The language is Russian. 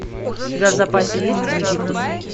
у тебя в запасе есть египтус